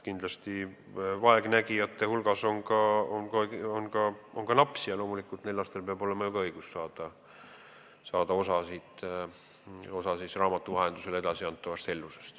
Kindlasti on vaegnägijate hulgas ka lapsi ja loomulikult peab ka neil lastel olema õigus saada osa raamatu vahendusel edasiantavast hellusest.